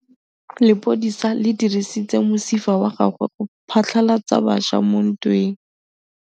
Lepodisa le dirisitse mosifa wa gagwe go phatlalatsa batšha mo ntweng.